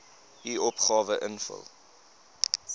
u opgawe invul